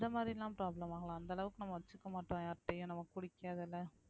அந்த மாதிரியெல்லாம் problem ஆகல அந்த அளவுக்கு நம்ம வச்சுக்க மாட்டோம் யார்கிட்டையும் நமக்கு புடிக்காதுல்ல